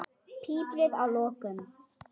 Piprið að lokum.